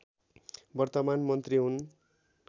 वर्तमान मन्त्री हुन्